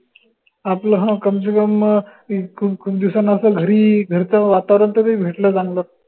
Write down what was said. आपल हं कमसेकम अं एक खूप खूप दिवसान आपल्याला घरी घरच वातावरन तरी भेटलं चांगलं